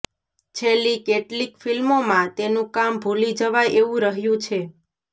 છેલ્લી કેટલીક ફિલ્મોમાં તેનું કામ ભૂલી જવાય એવું રહ્યું છે